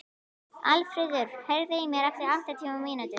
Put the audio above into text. Aðalfríður, heyrðu í mér eftir áttatíu mínútur.